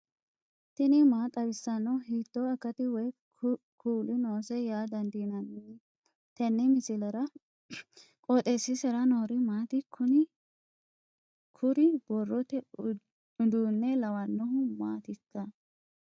tini maa xawissanno ? hiitto akati woy kuuli noose yaa dandiinanni tenne misilera? qooxeessisera noori maati? kuni kuri borrote uduunne lawannohu maatikka